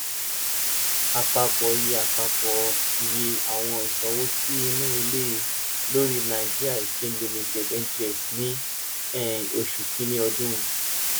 apapọ iye apapọ iye awọn iṣowo ti inu ile lori nigerian exchange limited (ngx) ni um oṣu kini ọdun